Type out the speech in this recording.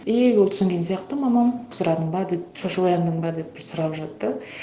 и ол түсінген сияқты мамам сұрадың ба деп шошып ояндың ба деп сұрап жатты